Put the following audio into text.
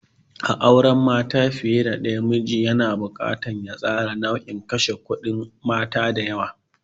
A cikin auren mata fiye da daya, miji yana buƙatar ya tsara nauyin kashe kudi na mata da yawa.